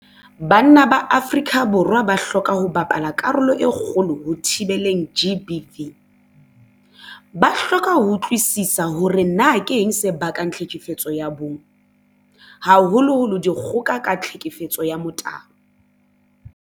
Banna ba Afrika Borwa ba hloka ho bapala karolo e kgolo ho thibeleng GBV. Ba hloka ho utlwisisa hore na keng se bakang tlhekefetso ya bong, haholoholo dikgoka ka tlhekefetso ya motabo.